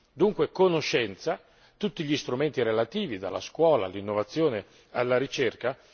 Dunque la conoscenza, tutti gli strumenti relativi dalla scuola all'innovazione, alla ricerca.